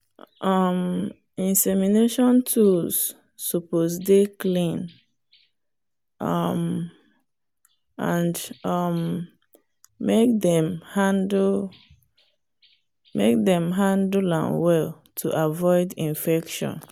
um insemination tools suppose dey clean um and um make dem handle dem handle am well to avoid infection